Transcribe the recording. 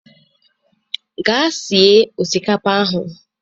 Gaa sie osikapa ahụ